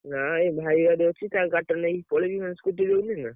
ନାଇ, ଏଇ ଭାଇ ଗାଡି ଅଛି, ତା ଗାଡି ଟା ନେଇକି ପଳେଇବି scooty ଟା ନା।